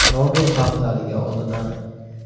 Nobel haftaligi oldidan.